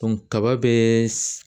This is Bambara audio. kaba bɛ